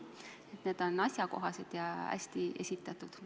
Need on asjakohased ja hästi esitatud.